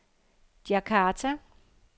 Djakarta